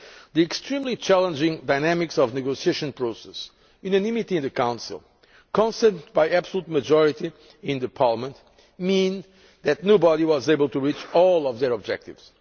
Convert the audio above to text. The extremely challenging dynamics of the negotiation process unanimity in the Council, consent by absolute majority at Parliament mean that nobody was able to reach all of their objectives.